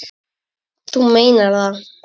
Þú meinar það.